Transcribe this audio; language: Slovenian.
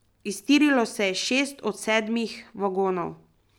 Iztirilo se je šest od sedmih vagonov.